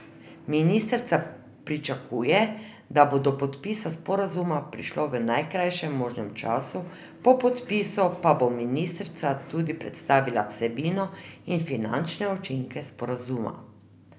Ministrica pričakuje, da bo do podpisa sporazuma prišlo v najkrajšem možnem času, po podpisu pa bo ministrica tudi predstavila vsebino in finančne učinke sporazuma.